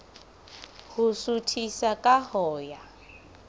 ho suthisa ka ho ya